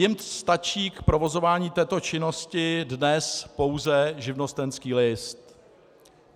Jim stačí k provozování této činnosti dnes pouze živnostenský list.